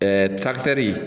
Ɛɛ taktɛri